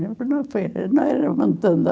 Não era muito